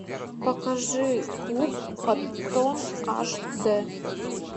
покажи клуб коттон аш дэ